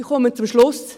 Ich komme zum Schluss.